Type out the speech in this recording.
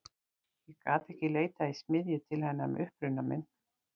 Ég gat ekki leitað í smiðju til hennar með uppruna minn.